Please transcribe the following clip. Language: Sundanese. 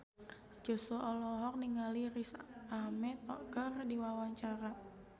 Joshua olohok ningali Riz Ahmed keur diwawancara